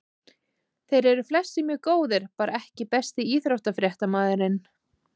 Þeir eru flestir mjög góðir bara EKKI besti íþróttafréttamaðurinn?